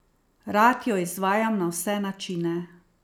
Rad jo izvajam na vse načine.